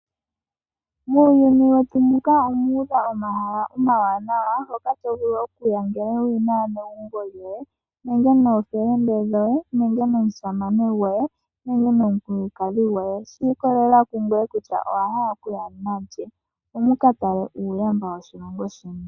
Muuyuni wetu muka omu udha omahala omawanawa hoka to vulu okuya ngele wuli naanegumbo lyoye nenge noofelende dhoye nenge nomusamane goye nenge nomukulukadhi goye. Oshi ikolelela ku ngoye kutya owa hala okuya nalye opo mu ka tale uuwanawa woshilongo sheni.